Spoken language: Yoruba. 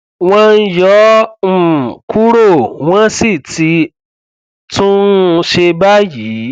wọn yọ ọ um kúrò wọn sì ti tún un ṣe báyìí